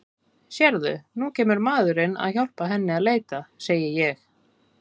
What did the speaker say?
Sérðu, nú kemur maðurinn að hjálpa henni að leita, segi ég.